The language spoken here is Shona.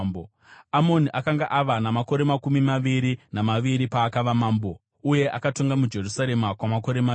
Amoni akanga ava namakore makumi maviri namaviri paakava mambo, uye akatonga muJerusarema kwamakore maviri.